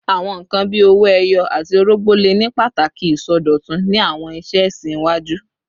Awọn nkan bii owo eyo ati orogbo le ni pataki isọdọtun ni awọn iṣe ẹsin iwaju